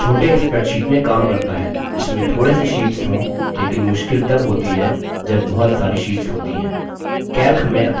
यह छोटे spreadsheet में काम करता है जिसमें थोड़े से शीट्स हों लेकिन मुश्किल तब होती है जब बहुत सारी शीट्स होती है